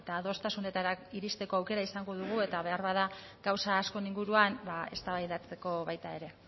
adostasunetara iristeko aukera izango dugu eta beharbada gauza askoren inguruan eztabaidatzeko baita ere